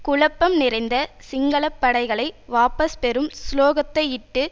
குழப்பம் நிறைந்த சிங்கள படைகளை வாபஸ் பெறும் சுலோகத்தையிட்டு